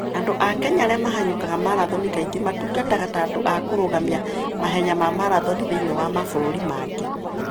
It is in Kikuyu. Andũ a Kenya arĩa mahanyũkaga marathoni kaingĩ matungataga ta andũ a kũrũgamia mahenya ma marathoni thĩinĩ wa mabũrũri mangĩ.